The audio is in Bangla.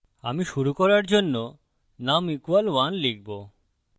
আমি শুরু করার জন্য num = 1 লিখবো